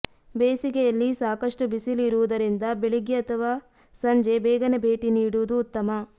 ಬೇಸಿಗೆಯಲ್ಲಿ ಸಾಕಷ್ಟು ಬಿಸಿಲು ಇರುವುದರಿಂದ ಬೆಳಗ್ಗೆ ಅಥವಾ ಸಂಜೆ ಬೇಗನೆ ಭೇಟಿ ನೀಡುವುದು ಉತ್ತಮ